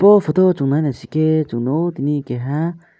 bo photo o chung nai naisikhe chung nukgo tini keha.